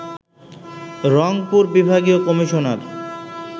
রংপুর বিভাগীয় কমিশনার